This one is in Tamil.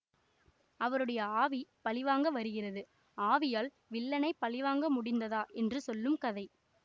அவருடைய ஆவி பழிவாங்க வருகிறது ஆவியால் வில்லனைப் பழிவாங்க முடிந்ததா என்று செல்லும் கதை